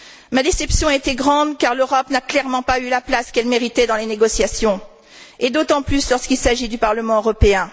Ma déception a été grande car l'Europe n'a clairement pas eu la place qu'elle méritait dans les négociations, et d'autant plus s'agissant du Parlement européen.